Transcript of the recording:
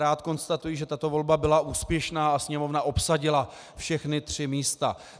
Rád konstatuji, že tato volba byla úspěšná a Sněmovna obsadila všechna tři místa.